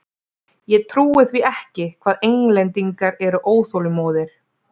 Ég trúi því ekki hvað Englendingar eru óþolinmóðir!